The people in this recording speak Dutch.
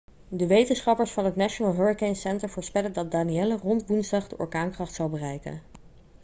de wetenschappers van het national hurricane center voorspellen dat danielle rond woensdag de orkaankracht zal bereiken